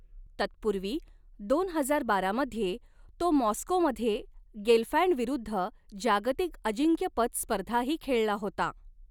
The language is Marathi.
तत्पू्र्वी दोन हजार बारा मध्ये, तो माॅस्कोमध्ये गेलफँडविरुद्ध जागतिक अजिंक्यपद स्पर्धाही खेळला होता.